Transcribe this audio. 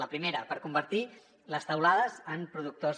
la primera per convertir les teulades en productors